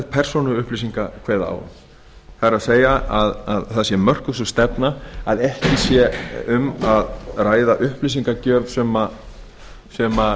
persónuupplýsinga kveða á um það er að það sé mörkuð sú stefna að ekki sé um að ræða upplýsingagjöf sem